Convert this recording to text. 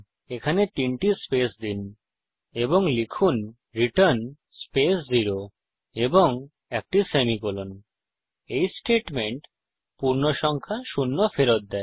এখানে তিনটি স্পেস দিন এবং লিখুন রিটার্ন স্পেস 0 এবং একটি সেমিকোলন এই স্টেটমেন্ট পূর্ণসংখ্যা শূন্য ফেরত দেয়